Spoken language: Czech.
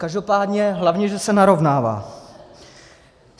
Každopádně hlavně že se narovnává.